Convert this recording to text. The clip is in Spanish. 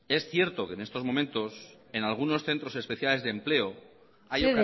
es cierto que en estos momentos en algunos centros especiales de empleo hay